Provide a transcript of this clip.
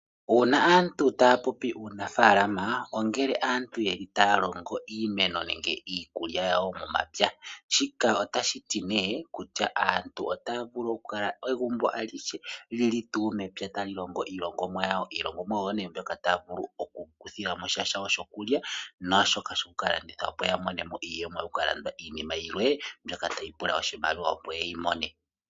Uuna aantu taya popi uunafaalama ongele aantu yeli taya longo iimeno nenge iikulya yawo momapya ,shika otashiti nee kutya aantu otaya vulu okukala egumbo alihe lili mepya tali longo iilongomwa yawo. Iilongomwa oyo nee mbyoka taya vulu oku ikuthilamo sha shokulya naashoka shoku kalanditha opo yamone iiyemo yoku kalanda iimaliwa opo yeyi mone.